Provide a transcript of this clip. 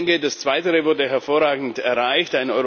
Ich denke, das Zweite wurde hervorragend erreicht.